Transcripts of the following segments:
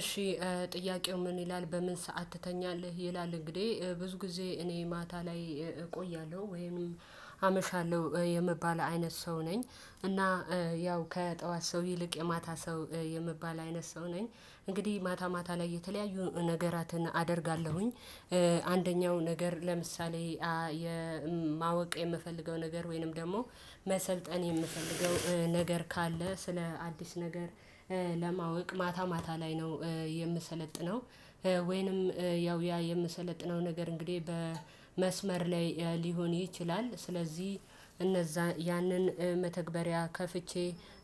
እሺ ጥያቄው ምን ይላል በምን ሰዓት ትተኛለህ ይላል? እንግዲህ ብዙ ጊዜ እኔ ማታ ላይ እቆያለሁ ወይም አመሻለሁ የምባል አይነት ሰው ነኝ። እና ያው ከጠዋት ሰው ይልቅ የማታ ሰው የሚባል አይነት ሰው ነኝ። እንግዲህ ማታ ማታ ላይ የተለያዩ ነገራትን አደርጋለሁኝ። አንደኛው ነገር ለምሳሌ የማወቅ የምፈልገው ነገር ወይንም ደግሞ መሰልጠን የምፈልገው ነገር ካለ ስለ አዲስ ነገር ለማወቅ ማታ ማታ ላይ ነው። የምሰለጥነው። ወይንም ያው ያ የምሰለጥነው ነገር እንግዲህ በመስመር ላይ ሊሆን ይችላል። ስለዚህ እነዛ ያንን መተግበሪያ ከፍቼ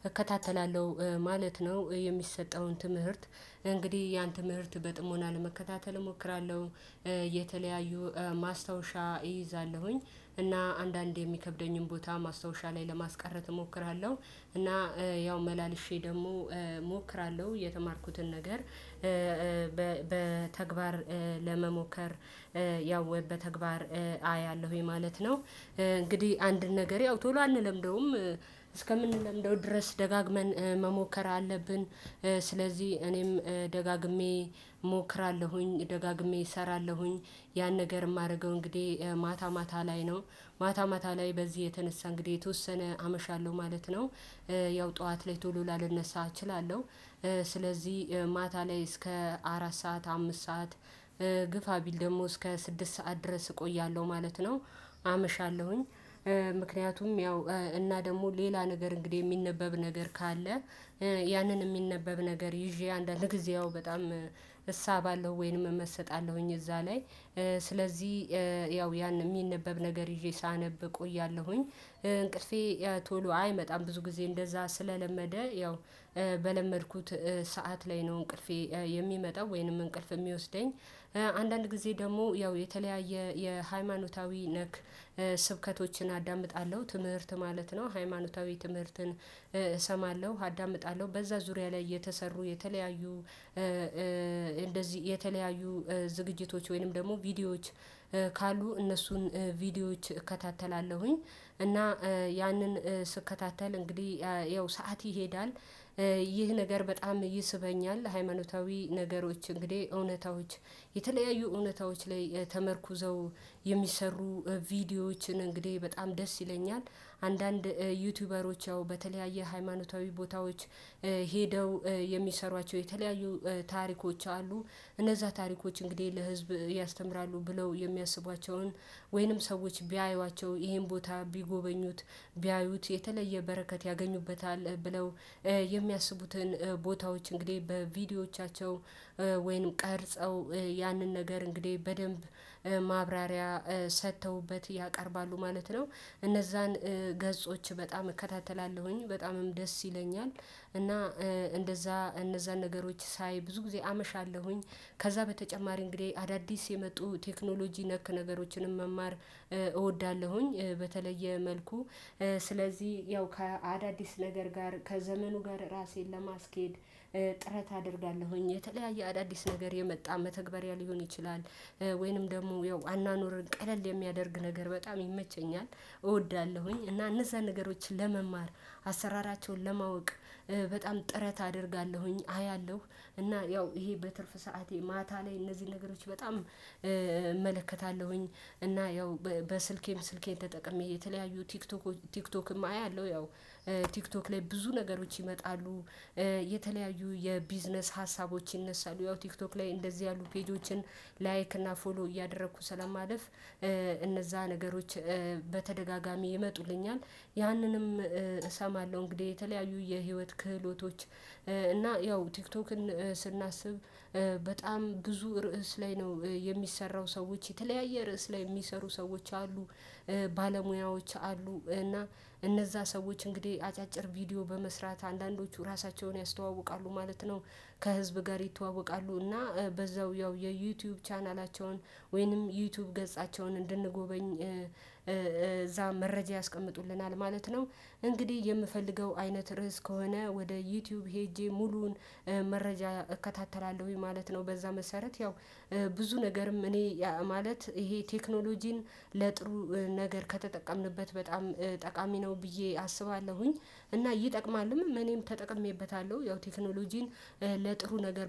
እከታተላለሁ ማለት ነው። የሚሰጠውን ትምህርት እንግዲህ ያን ትምህርት በጥሞና ለመከታተል እሞክራለሁ። የተለያዩ ማስታወሻ እይዛለሁኝ እና አንዳንዴ የሚከብደኝን ቦታ ማስታወሻ ላይ ለማስቀረት እሞክራለሁ። እና ያው መላልሼ ደግሞ እሞክራለሁ የተማርኩትን ነገር። በተግባር ለመሞከር ያው ወይ በተግባር አያለሁኝ ማለት ነው። እንግዲህ አንድ ነገር ያው ቶሎ አንለምደውም። እስከምንለምደው ድረስ ደጋግመን መሞከር አለብን። ስለዚህ እኔም ደጋግሜ እሞክራለሁኝ ደጋግሜ እሰራለሁኝ። ያን ነገር የማደርገው እንግዲህ ማታ ማታ ላይ ነው። ማታ ማታ ላይ በዚህ የተነሳ እንግዲህ የተወሰነ አመሻለሁ ማለት ነው። ያው ጠዋት ላይ ቶሎ ላልነሳ እችላለሁ። ስለዚህ ማታ ላይ እስከ አራት ሰዓት አምስት ሰዓት ግፋ ቢል ደግሞ እስከ ስድስት ሰዓት ድረስ እቆያለሁ ማለት ነው። አመሻለሁኝ ምክንያቱም ያው እና ደግሞ ሌላ ነገር እንግዲህ የሚነበብ ነገር ካለ። ያንን የሚነበብ ነገር ይዤ አንዳንድ ጊዜ ያው በጣም እሳባለው ወይንም እመሰጣለሁኝ እዛ ላይ። ስለዚህ ያው ያን የሚነበብ ነገር ይዤ ሳነብ እቆያለሁኝ። እንቅልፌ ቶሎ አይመጣም ብዙ ጊዜ እንደዛ ስለለመደ ያው በለመድኩት ሰዓት ላይ ነው እንቅልፌ የሚመጣው ወይንም እንቅልፍ የሚወስደኝ። አንዳንድ ጊዜ ደግሞ ያው የተለያየ የሃይማኖታዊ ነክ ስብከቶችን አዳምጣለሁ ትምህርት ማለት ነው። ሃይማኖታዊ ትምህርትን እሰማለሁ አዳምጣለሁ በዛ ዙሪያ ላይ የተሰሩ የተለያዩ እንደዚህ የተለያዩ ዝግጅቶች ወይንም ደግሞ ቪዲዮዎች ካሉ እነሱን ቪዲዮዎች እከታተላለሁኝ። እና ያንን ስከታተል እንግዲህ ያው ሰዓት ይሄዳል። ይህ ነገር በጣም ይስበኛል ሃይማኖታዊ ነገሮች እንግዲህ እውነታዎች የተለያዩ እውነታዎች ላይ ተመርኩዘው የሚሰሩ ቪዲዮዎችን እንግዲህ በጣም ደስ ይለኛል። አንዳንድ ዩቲዩበሮች ያው በተለያየ ሃይማኖታዊ ቦታዎች ሄደው የሚሰሯቸው የተለያዩ ታሪኮች አሉ። እነዛ ታሪኮች እንግዲህ ለህዝብ ያስተምራሉ ብለው የሚያስቧቸውን ወይንም ሰዎች ቢያዩዋቸው ይሄን ቦታ ቢጎበኙት ቢያዩት የተለየ በረከት ያገኙበታል ብለው የሚያስቡትን ቦታዎች እንግዲህ በቪዲዮዎቻቸው ወይንም ቀርጸው ያንን ነገር እንግዲህ በደንብ ማብራሪያ ሰጥተውበት ያቀርባሉ ማለት ነው። እነዛን ገጾች በጣም እከታተላለሁኝ በጣምም ደስ ይለኛል። እና እንደዛ እነዛን ነገሮች ሳይ ብዙ ጊዜ አመሻለሁኝ ከዛ በተጨማሪ እንግዲህ አዳዲስ የመጡ ቴክኖሎጂ ነክ ነገሮችንም መማር እወዳለሁኝ። በተለየ መልኩ ስለዚህ ያው ከአዳዲስ ነገር ጋር ከዘመኑ ጋር ራሴን ለማስኬድ ጥረት አደርጋለሁኝ። የተለያየ አዳዲስ ነገር የመጣ መተግበሪያ ሊሆን ይችላል። ወይንም ደግሞ ያው አኗኗርን ቀለል የሚያደርግ ነገር በጣም ይመቸኛል እወዳለሁኝ። እና እነዛ ነገሮችን ለመማር አሰራራቸውን ለማወቅ በጣም ጥረት አደርጋለሁኝ። አያለሁ እና ያው ይሄ በትርፍ ሰዓቴ ማታ ላይ እነዚህን ነገሮች በጣም እመለከታለሁኝ። እና ያው በስልኬም ስልኬን ተጠቅሜ የተለያዩ ቲክቶክ ቲክቶክም አያለሁ ያው ቲክቶክ ላይ ብዙ ነገሮች ይመጣሉ። የተለያዩ የቢዝነስ ሀሳቦች ይነሳሉ ያው ቲክቶክ ላይ እንደዚህ ያሉ ፔጆችን ላይክ እና ፎሎ እያደረኩ ስለማለፍ እነዛ ነገሮች በተደጋጋሚ ይመጡልኛል። ያንንም እሰማለሁ እንግዲህ የተለያዩ የህይወት ክህሎቶች። እና ያው ቲክቶክን ስናስብ በጣም ብዙ ርዕስ ላይ ነው የሚሰራው ሰዎች የተለያየ ርዕስ ላይ የሚሰሩ ሰዎች አሉ። ባለሙያዎች አሉ እና እነዛ ሰዎች እንግዲህ አጫጭር ቪዲዮ በመስራት አንዳንዶቹ ራሳቸውን ያስተዋውቃሉ ማለት ነው። ከህዝብ ጋር ይተዋወቃሉ። እና በዛው ያው የዩቲዩብ ቻናላቸውን ወይንም ዩቲዩብ ገጻቸውን እንድንጎበኝ እዛ መረጃ ያስቀምጡልናል ማለት ነው። እንግዲህ የምፈልገው አይነት ርዕስ ከሆነ ወደ ዩቲዩብ ሄጄ ሙሉውን መረጃ እከታተላለሁኝ ማለት ነው። በዛ መሰረት ያው ብዙ ነገርም እኔ ማለት ይሄ ቴክኖሎጂን ለጥሩ ነገር ከተጠቀምንበት በጣም ጠቃሚ ነው ብዬ አስባለሁኝ። እና ይጠቅማልም እኔም ተጠቅሜበታለሁ ያው ቴክኖሎጂን ለጥሩ ነገር